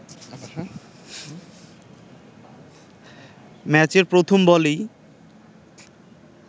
ম্যাচের প্রথম বলেই